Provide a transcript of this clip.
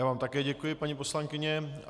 Já vám také děkuji, paní poslankyně.